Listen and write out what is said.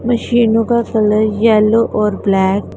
मशीनों का colour yellow और ब्लैक --